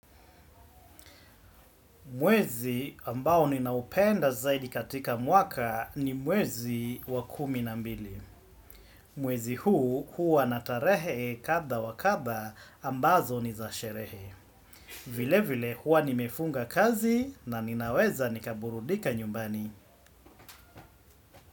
Mwezi ambao ninaupenda zaidi katika mwaka ni mwezi wa kumi na mbili. Mwezi huu huwa na tarehe kadha wakadha ambazo ni za sherehe. Vile vile hua nimefunga kazi, na ninaweza nikaburudika nyumbani.